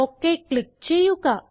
okay click ചെയ്യുക